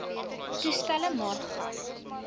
toestelle maar gas